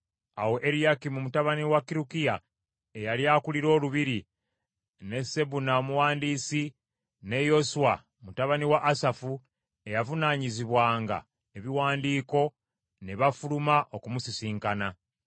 Awo Eriyakimu mutabani wa Kirukiya, eyali akulira olubiri, ne Sebuna omuwandiisi, ne Yoswa mutabani wa Asafu eyavunaanyizibwanga ebiwandiiko ne bafuluma okumusisinkana.